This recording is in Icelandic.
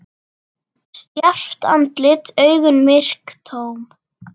Stjarft andlit, augun myrk, tóm.